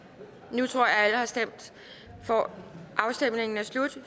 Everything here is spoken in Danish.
nu tror jeg alle har stemt afstemningen er slut